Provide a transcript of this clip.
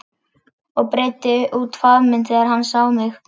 Og breiddi út faðminn þegar hann sá mig.